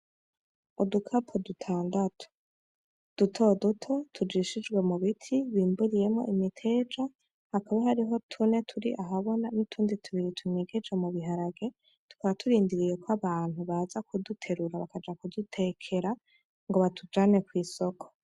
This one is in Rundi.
Udukapo dutandatu duto duto tujishijwe mu biti bimburiyemwo imiteja, hakaba hariho tune turi ahabona, n'utundi tubiri tunyegeje mu biharage, tukaba turindiriye ko abantu baza kuduterura bakaja kudutekera ngo batujane kw'isoko.